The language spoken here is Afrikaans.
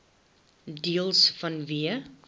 deels vanweë